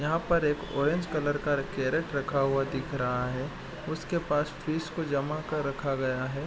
यहाँ पर एक ऑरेंज कलर का कैरेट रखा हुआ दिख रहा है उसके पास फिश को जमा कर रखा गया है।